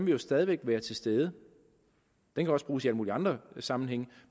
jo stadig væk være til stede den kan også bruges i alle mulige andre sammenhænge